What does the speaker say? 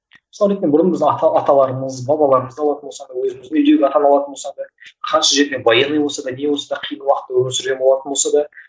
мысалы ретінде бұрын біз ата аталарымыз бабаларымызды алатын болсақ өзіміздің үйдегі атаны алатын болсақ та қанша жерден военный болса да не болса да қиын уақытта өмір сүрген болатын болса да